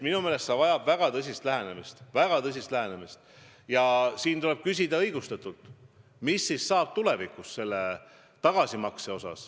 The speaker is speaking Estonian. Minu meelest see vajab väga tõsist lähenemist ja tuleb õigustatult küsida, kuidas ikkagi tulevikus selle tagasimaksega on.